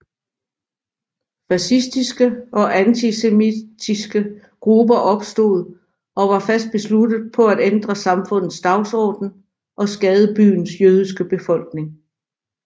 Fascistiske og antisemitiske grupper opstod og var fast besluttet på at ændre samfundets dagsorden og skade byens jødiske befolkning